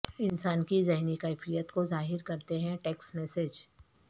انسان کی ذہنی کیفیت کو ظاہرکرتے ہیں ٹیکسٹ میسج